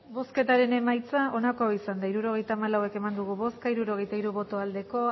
hirurogeita hamalau eman dugu bozka hirurogeita hiru bai